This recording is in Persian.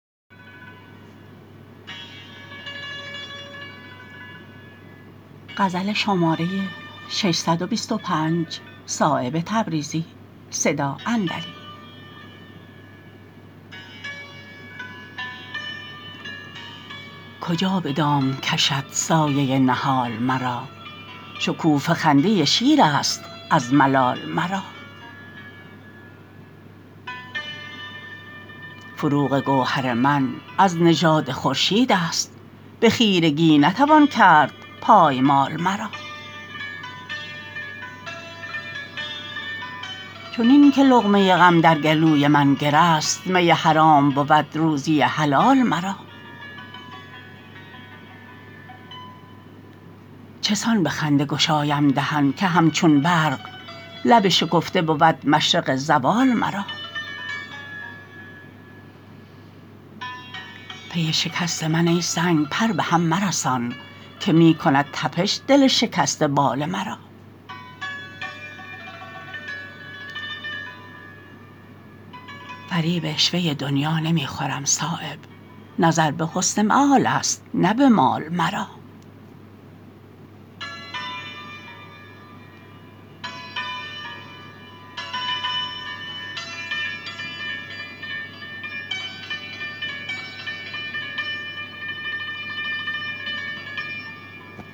کجا به دام کشد سایه نهال مرا شکوفه خنده شیرست از ملال مرا فروغ گوهر من از نژاد خورشیدست به خیرگی نتوان کرد پایمال مرا چنین که لقمه غم در گلوی من گره است می حرام بود روزی حلال مرا چسان به خنده گشایم دهن که همچون برق لب شکفته بود مشرق زوال مرا پی شکست من ای سنگ پر بهم مرسان که می کند تپش دل شکسته بال مرا فریب عشوه دنیا نمی خورم صایب نظر به حسن مآل است نه به مال مرا